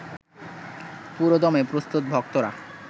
পুরোদমে প্রস্তুত ভক্তরা